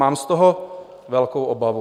Mám z toho velkou obavu.